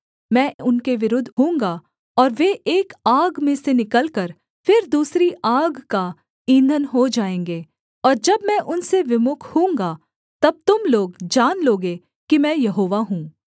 मैं उनके विरुद्ध होऊँगा और वे एक आग में से निकलकर फिर दूसरी आग का ईंधन हो जाएँगे और जब मैं उनसे विमुख होऊँगा तब तुम लोग जान लोगे कि मैं यहोवा हूँ